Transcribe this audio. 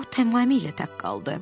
O tamamilə tək qaldı.